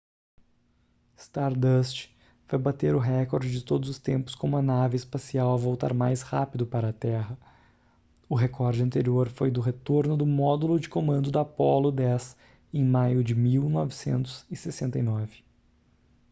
stardust vai bater o recorde de todos os tempos como a nave espacial a voltar mais rápido para a terra o recorde anterior foi do retorno do módulo de comando da apollo x em maio de 1969